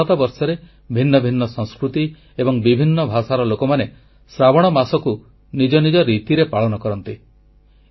ସମଗ୍ର ଭାରତବର୍ଷରେ ଭିନ୍ନ ଭିନ୍ନ ସଂସ୍କୃତି ଏବଂ ବିଭିନ୍ନ ଭାଷାର ଲୋକମାନେ ଶ୍ରାବଣ ମାସକୁ ନିଜ ନିଜ ରୀତିରେ ପାଳନ କରନ୍ତି